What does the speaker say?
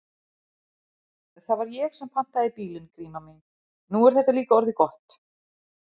Það var ég sem pantaði bílinn, Gríma mín, nú er þetta líka orðið gott.